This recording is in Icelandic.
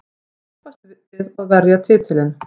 Keppast við að verja titilinn.